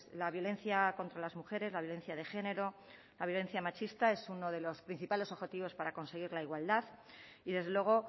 la violencia contra las mujeres la violencia de género la violencia machista es uno de los principales objetivos para conseguir la igualdad y desde luego